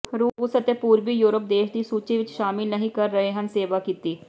ਰੂਸ ਅਤੇ ਪੂਰਬੀ ਯੂਰਪ ਦੇਸ਼ ਦੀ ਸੂਚੀ ਵਿੱਚ ਸ਼ਾਮਿਲ ਨਹੀ ਕਰ ਰਹੇ ਹਨ ਸੇਵਾ ਕੀਤੀ